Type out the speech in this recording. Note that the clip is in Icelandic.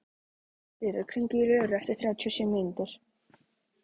Diðrik, hringdu í Löru eftir þrjátíu og sjö mínútur.